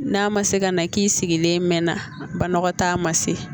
N'a ma se ka na k'i sigilen mɛ na banakɔtaa ma se